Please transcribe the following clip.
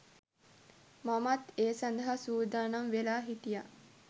මමත් ඒ සඳහා සූදානම් වෙලා හිටියා.